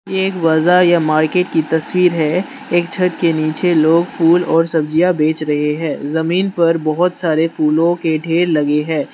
ये एक बाजार या मार्केट की तस्वीर है एक छत के नीचे लोग फूल और सब्जियां बेच रहे है जमीन पर बहोत सारे फूलों के ढेर लगे है।